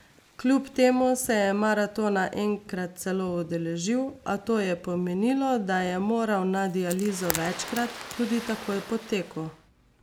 Kljub temu se je maratona enkrat celo udeležil, a to je pomenilo, da je moral na dializo večkrat, tudi takoj po teku.